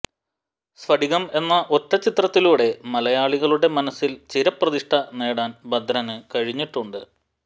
സ്ഫടികം എന്ന ഒറ്റ ചിത്രത്തിലൂടെ മലയാളികളുടെ മനസിൽ ചിരപ്രതിഷ്ഠ നേടാൻ ഭദ്രനു കഴിഞ്ഞിട്ടുണ്ട്